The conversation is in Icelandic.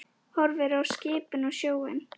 Horfir á skipin og sjóinn.